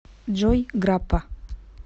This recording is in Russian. джой граппа